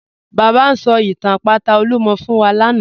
Baba n sọ̀ itàn àpátà Olúmọ̀ fún wa lánà.